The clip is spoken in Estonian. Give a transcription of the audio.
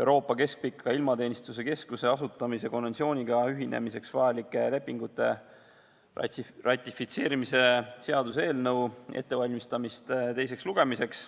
Euroopa Keskpika Ilmateenistuse Keskuse asutamise konventsiooniga ühinemiseks vajalike lepingute ratifitseerimise seaduse eelnõu ette teiseks lugemiseks.